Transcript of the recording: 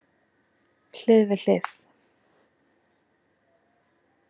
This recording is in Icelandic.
Hlið við hlið.